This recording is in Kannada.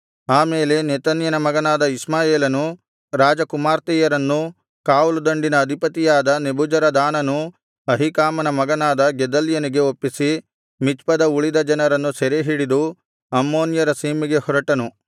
ಆ ಮೇಲೆ ನೆತನ್ಯನ ಮಗನಾದ ಇಷ್ಮಾಯೇಲನು ರಾಜಕುಮಾರ್ತೆಯರನ್ನು ಕಾವಲುದಂಡಿನ ಅಧಿಪತಿಯಾದ ನೆಬೂಜರದಾನನು ಅಹೀಕಾಮನ ಮಗನಾದ ಗೆದಲ್ಯನಿಗೆ ಒಪ್ಪಿಸಿ ಮಿಚ್ಪದ ಉಳಿದ ಜನರನ್ನು ಸೆರೆಹಿಡಿದು ಅಮ್ಮೋನ್ಯರ ಸೀಮೆಗೆ ಹೊರಟನು